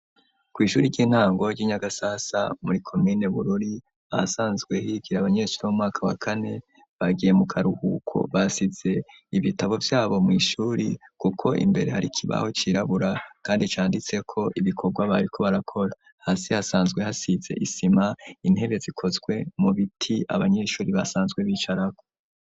Kw'ishuri ry'intango ry'i Nyagasasa muri komine Bururi, ahasanzwe higire abanyeshurir bo mu mwaka wa kane, bagiye mu karuhuko basize ibitabo vyabo mw'ishuri, kuko imbere hari ikibaho cirabura kandi canditseko ibikorwa bariko barakora. Hasi hasanzwe hasize isima, intebe zikozwe mu biti, abanyeshuri basanzwe bicarako.